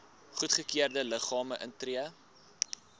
goedgekeurde liggame tree